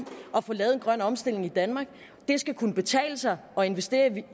at få lavet en grøn omstilling i danmark det skal kunne betale sig at investere